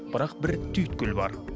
бірақ бір түйткіл бар